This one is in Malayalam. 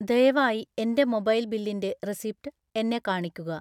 ദയവായി എൻ്റെ മൊബൈൽ ബില്ലിൻ്റെ റെസിപ്റ്റ് എന്നെ കാണിക്കുക